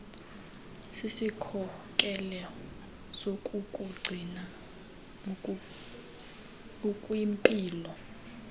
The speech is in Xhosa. sisikhokelo sokukugcina ukwimpilo